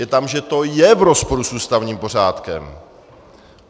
Je tam, že to je v rozporu s ústavním pořádkem.